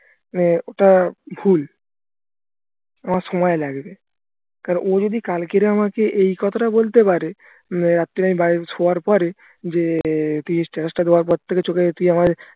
মানে ওটা ভুল আমার সময় লাগবে কারণ ও যদি কালকে আমাকে এই কথাটা বলতে পারে রাত্রে আমি শোয়ার পরে যে তুই status টা দেওয়ার পরথেকে চোখে তুই আমার